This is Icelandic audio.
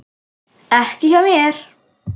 Ekki hjá mér.